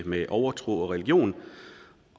med overtro og religion